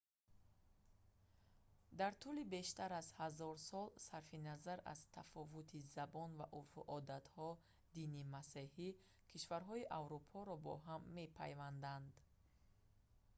дар тӯли бештар аз ҳазор сол сарфи назар аз тафовути забон ва урфу одатҳо дини масеҳӣ кишварҳои аврупоро бо ҳам мепайвандад